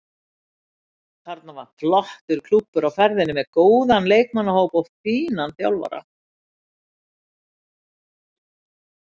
Þarna er flottur klúbbur á ferðinni með góðan leikmannahóp og fínan þjálfara.